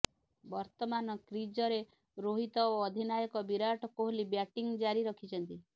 ବର୍ତ୍ତମାନ କ୍ରିଜରେ ରୋହିତ ଓ ଅଧିନାୟକ ବିରାଟ କୋହଲି ବ୍ୟାଟିଂ ଜାରି ରଖିଛନ୍ତି